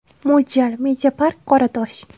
Mo‘ljal: Media Park Qoratosh.